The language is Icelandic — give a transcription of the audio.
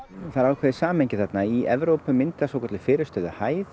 það er ákveðið samhengi þarna í Evrópu myndast svokölluð